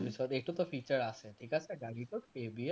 আৰু এইটোতো feature আছে ঠিক আছে গাড়ীটোত ABS